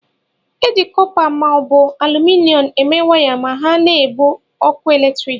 E ji kọpa ma ọ bụ aluminom eme waya ma ha na-ebu ọkụ eletrik.